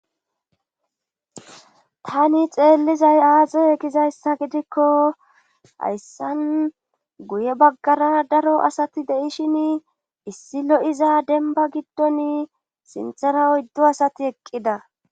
Tani xeellizay aazoy egizayssa gidikko hayssan guye baggara daro asati deishin issi lo7iza denba giddon sinthara oyddo asati eqqida